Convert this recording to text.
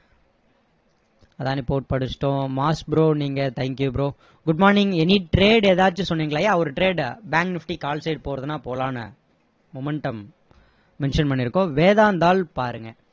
Adani port படிச்சிட்டோம் bro நீங்க thank you bro good morning any trade ஏதாச்சு சொன்னீங்களா yeah ஒரு trade bank nifty call side போறதுன்னா போலாம்னு momentum mention பண்ணிருக்கோம் வேதாந்தாள் பாருங்க